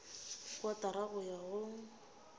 ke kotara go ya go